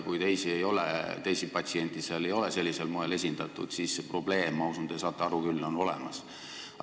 Kui teisi patsiente seal ei ole sellisel moel esindatud, siis see probleem – ma usun, te saate aru – on olemas.